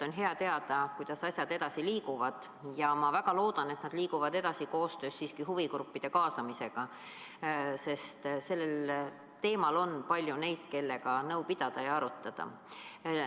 On hea teada, kuidas asjad edasi liiguvad, ja ma väga loodan, et nad liiguvad edasi siiski koostöös huvigruppidega, sest selle teema puhul on palju neid, kellega nõu pidada ja arutada.